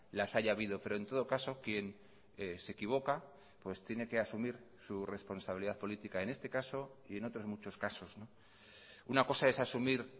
las haya habido pero en todo caso quien se equivoca pues tiene que asumir su responsabilidad política en este caso y en otros muchos casos una cosa es asumir